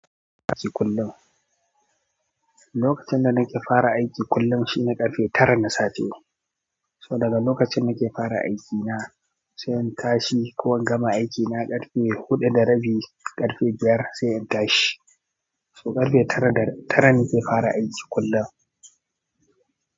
Lokacin da nake fara aiki kullum shine ƙarfe tara na safe. So daga lokacin nake fara aiki na sai in tashi. Ko an gama aiki na ƙarfe huɗu da rabi, ƙarfe biyar sai in tashi. So ƙarfe tara, tara nake fara aiki kullum.